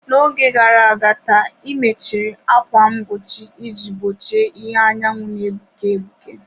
N'oge gara aga taa, ị mechiri ákwà mgbochi iji gbochie ìhè anyanwụ na-egbuke egbuke.